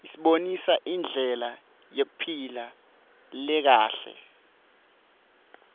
isibonisa indlela yekuphila lekahle